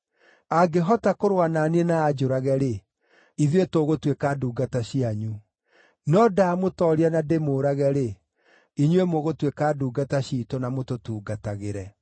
Angĩhota kũrũa na niĩ na anjũrage-rĩ, ithuĩ tũgũtuĩka ndungata cianyu; no ndamũtooria na ndĩmũũrage-rĩ, inyuĩ mũgũtuĩka ndungata ciitũ na mũtũtungatagĩre.”